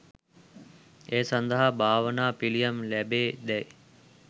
ඒ සඳහා භාවනාව පිළියම් ලැබේ දැයි